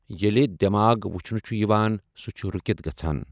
ییلہِ دٮ۪ماغ وچھنہٕ چھُ یِوان سُہ چھُ رُکتھ گژھان۔